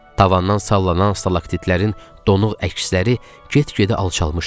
Tavandan sallanan stalaktitlərin donuq əksləri get-gedə alçalmışdı.